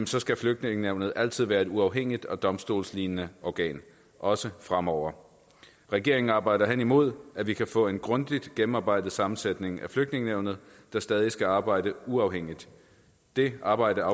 så skal flygtningenævnet altid være et uafhængigt og domstolslignende organ også fremover regeringen arbejder hen imod at vi kan få en grundigt gennemarbejdet sammensætning af flygtningenævnet der stadig skal arbejde uafhængigt det arbejde